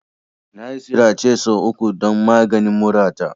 Nayi sirace sau uku don maganin murata.